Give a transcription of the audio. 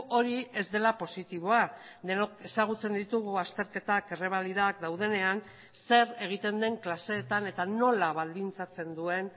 hori ez dela positiboa denok ezagutzen ditugu azterketak errebalidak daudenean zer egiten den klaseetan eta nola baldintzatzen duen